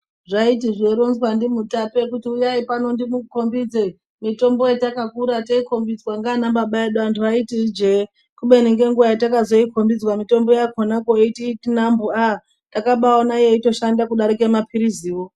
Zvaiti zveironzwa ndimutape kuti uyai pano ndikukombidze mitombo yatakura teikombidzwa ngaaianababa edu anhu aiti ijee kubeni ngenguwa takozoikombidzwa mitombo yakona koiti nambu aah! takatona yeibashanda kudarike mapiliziwo.